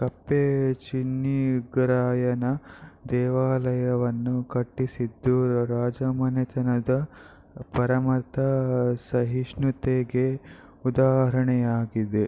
ಕಪ್ಪೆ ಚೆನ್ನಿಗರಾಯನ ದೇವಾಲಯವನ್ನು ಕಟ್ಟಿಸಿದ್ದು ರಾಜಮನೆತನದ ಪರಮತ ಸಹಿಷ್ಣುತೆಗೆ ಉದಾಹರಣೆಯಾಗಿದೆ